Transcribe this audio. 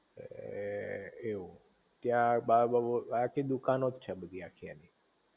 એમ એ એવું ત્યાં આખી દુકાનો જ છે બધી આખી એની